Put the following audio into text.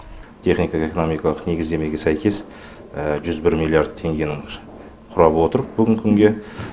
техникалық экономикалық негіздемеге сәйкес жүз бір миллиард теңгенің құрап отыр бүгінгі күнге